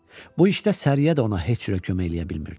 Bu işdə Səriyə də ona heç cürə kömək eləyə bilmirdi.